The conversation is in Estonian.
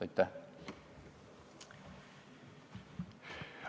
Aitäh!